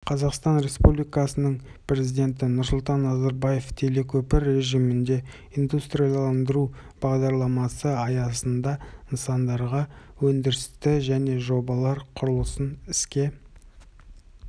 қазақстан республикасының президенті нұрсұлтан назарбаев телекөпір режимінде индустрияландыру бағдарламасы аясында нысандардағы өндірісті және жобалар құрылысын іске